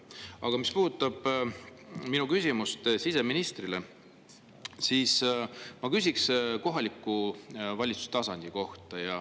Aga siseministrilt ma küsiksin kohaliku valitsuse tasandi kohta.